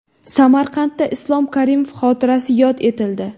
Samarqandda Islom Karimov xotirasi yod etildi .